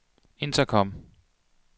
intercom